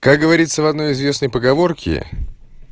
как говорится в одной известной поговорке